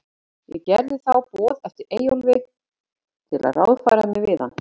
Gerði ég þá boð eftir Eyjólfi, til að ráðfæra mig við hann.